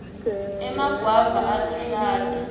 emagwava aluhlata